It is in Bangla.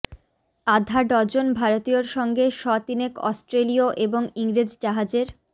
আধা ডজন ভারতীয়র সঙ্গে শ তিনেক অস্ট্রেলীয় এবং ইংরেজ জাহাজের